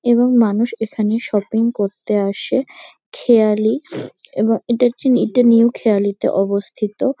এবং মানুষ এখানে শপিং করতে আসে খেয়ালি এবং এটাজন এটা নিউ খেয়ালিতে অবস্থিত।